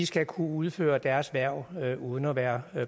skal kunne udføre deres erhverv uden at være